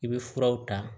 I bɛ furaw ta